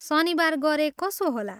शनिबार गरे कसो होला?